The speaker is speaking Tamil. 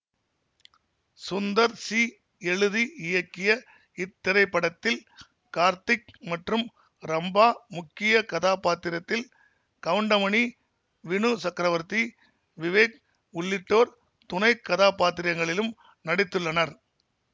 சுந்தர் சி எழுதி இயக்கிய இத்திரைப்படத்தில் கார்த்திக் மற்றும் ரம்பா முக்கிய கதாபாத்திரத்தில் கவுண்டமணி வினு சக்ரவர்த்தி விவேக் உள்ளிட்டோர் துணை கதாபாத்திரங்களிலும் நடித்துள்ளனர்